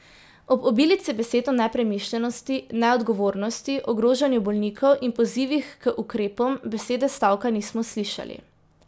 Ob obilici besed o nepremišljenosti, neodgovornosti, ogrožanju bolnikov in pozivih k ukrepom besede stavka nismo slišali.